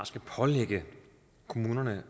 skal pålægge kommunerne